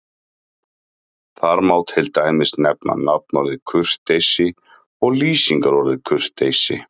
Þar má til dæmis nefna nafnorðið kurteisi og lýsingarorðið kurteis.